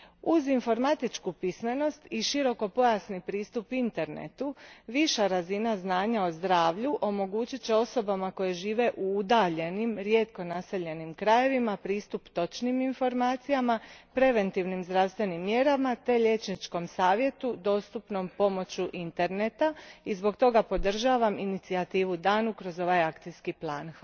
Uz informatičku pismenost i širokopojasni pristup Internetu, viša razina znanja o zdravlju omogućit će osobama koje žive u udaljenim rijetko naseljenim krajevima pristup točnim informacijama, preventivnim zdravstvenim mjerama te liječničkom savjetu dostupnom pomoću Interneta i zbog toga podržavam inicijativu danu kroz ovaj akcijski plan.